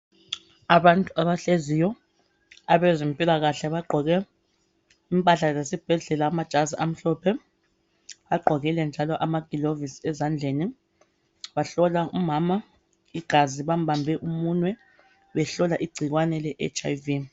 Abantu abahleziyo abezempilakahle bagqoke impahla zesibhedlela amajazi amhlophe bagqokile njalo amaglovisi ezandleni bahlola umama igazi bambambe umunwe behlola igcikwane le HIV